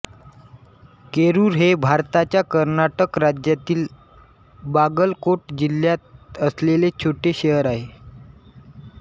केरुर हे भारताच्या कर्नाटक राज्यातील बागलकोट जिल्ह्यात असलेले छोटे शहर आहे